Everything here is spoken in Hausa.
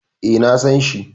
E, na san shi.